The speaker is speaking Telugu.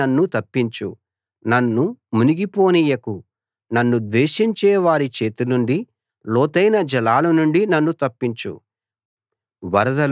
ఊబిలోనుండి నన్ను తప్పించు నన్ను మునిగి పోనీయకు నన్ను ద్వేషించే వారి చేతినుండి లోతైన జలాల నుండి నన్ను తప్పించు